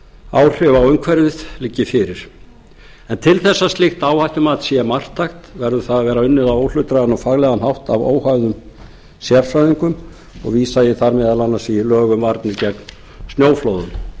áhrif á umhverfið liggi fyrir til þess að slíkt áhættumat sé marktækt verður það að vera unnið á óhlutdrægan og faglegan hátt af óháðum sérfræðingum og vísa ég þar meðal annars í lög um varnir gegn snjóflóðum